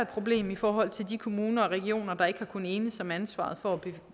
problem i forhold til de kommuner og regioner der ikke har kunnet enes om ansvaret for